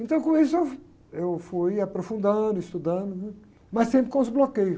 Então, com isso, eu, eu fui aprofundando, estudando, né? Mas sempre com os bloqueios.